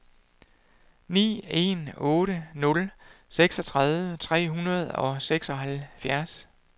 ni en otte nul seksogtredive tre hundrede og seksoghalvfjerds